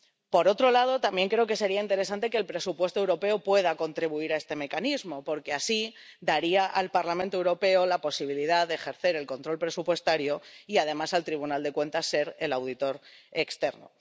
Por otro lado, también creo que sería interesante que el presupuesto europeo pueda contribuir a este mecanismo, porque así daría al Parlamento Europeo la posibilidad de ejercer el control presupuestario y, además, al Tribunal de Cuentas ser el auditor externo.